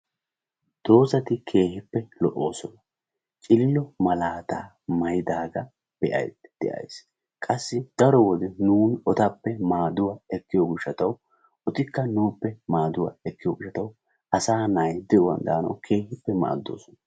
doozati keehippe lo'osoona. cilillo malaata maayyidaaga be'aydda de'ays. qassi darotoo nuun etappe maaduwa ekkiyo gishataw etikka nuuppe maaduwa ekkiyo gishshataw asay de'uwaan daanaw keehippe maadoosona.